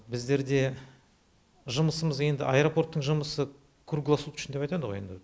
біздерде жұмысымыз енді аэропорттың жұмысы круглосуточно деп айтады ғой енді